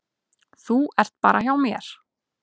Þú ert bara hjá mér.